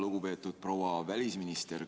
Lugupeetud proua välisminister!